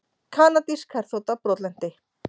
Kanadísk herþota brotlenti